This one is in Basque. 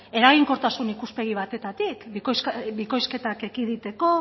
eraginkortasun ikuspegi batetatik bikoizketak ekiditeko